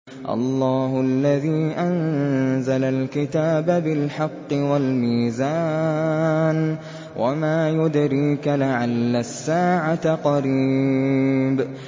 اللَّهُ الَّذِي أَنزَلَ الْكِتَابَ بِالْحَقِّ وَالْمِيزَانَ ۗ وَمَا يُدْرِيكَ لَعَلَّ السَّاعَةَ قَرِيبٌ